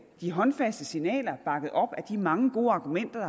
de håndfaste signaler bakket op af de mange gode argumenter